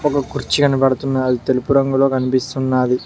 ఒక కుర్చీ కనబడుతున్న అది తెలుపు రంగులో కనిపిస్తున్నాది.